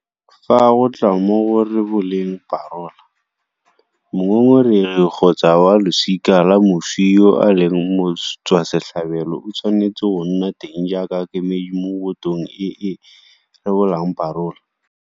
Fa go tla mo go reboleng parola, mongongoregi kgotsa wa losika la moswi yo e leng motswasetlhabelo o tshwanetse go nna teng jaaka kemedi mo botong e e rebolang parola.